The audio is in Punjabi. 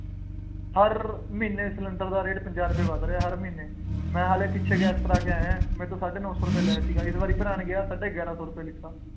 ਹਰ ਮਹੀਨੇ ਸਿਲੰਡਰ ਦਾ ਰੇਟ ਪੰਜਾਹ ਰੁਪਏ ਵੱਧ ਰਿਹਾ, ਹਰ ਮਹੀਨੇ, ਮੈਂ ਹਾਲੇ ਪਿੱਛੇ ਗਿਆ ਗੈਸ ਭਰਾ ਕੇ ਆਇਆਂ, ਮੈਥੋਂ ਸਾਢੇ ਨੌ ਸੌ ਰੁਪਏ ਲਏ ਸੀ। ਇਸ ਵਾਰੀ ਭਰਾਉਣ ਗਿਆ ਸਾਢੇ ਗਿਆਰਾਂ ਸੌ ਰੁਪਏ ਦਿੱਤਾ।